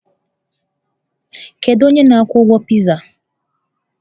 Kedu onye na-akwụ ụgwọ pịzaa?